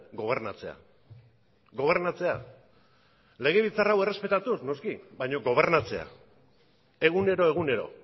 gobernatzea gobernatzea legebiltzar hau errespetatuz noski baina gobernatzea egunero egunero